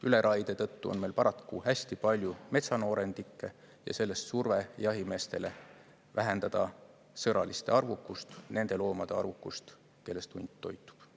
Üleraie tõttu on meil paraku hästi palju metsanoorendikke ja sellest surve jahimeestele vähendada sõraliste arvukust, nende loomade arvukust, kellest hunt toitub.